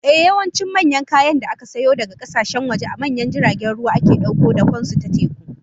Ehh, yawancin manyan kayan da aka sayo daga kasashen waje, a manyan jiragen ruwa ake dauko dakon su ta teku